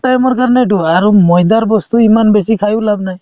time ৰ কাৰণেতো আৰু ময়দাৰ বস্তু ইমান বেছি খায়ো লাভ নাই